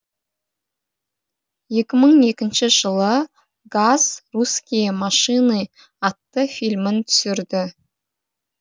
екі мың екінші жылы газ русские машины атты фильмін түсірді